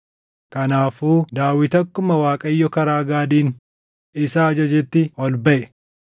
Kanaafuu Daawit akkuma Waaqayyo karaa Gaadiin isa ajajetti ol baʼe.